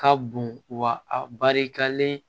Ka bon wa a barikalen